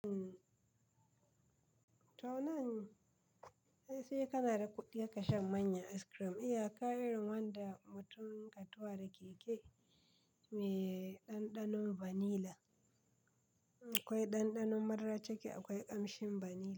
To nan sai kana da kuɗi haka shan manya ice cream. Iya ka irin wanda mutum ka tuwa da keke mai ɗanɗanon vanilla. Akwai ɗanɗanon madara cike akwai ƙamshin vanilla.